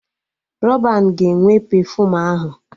Rọban ga-enwe pefuum ahụ